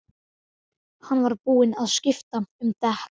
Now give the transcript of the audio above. Hann var búinn að skipta um dekk.